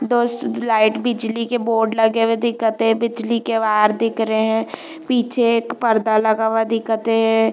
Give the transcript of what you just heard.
दस लाइट बिजली के बोर्ड लगे हुए दिखत हे बिजली के वायर दिख रहे है पीछे एक पर्दा लगा हुआ दिखत हे।